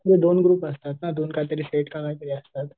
नाही दोन ग्रुप असतात ना दोन काहीतरी सेट काहीतरी असतात.